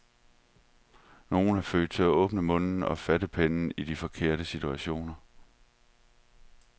Nogle er født til at åbne munden og fatte pennen i de forkerte situationer.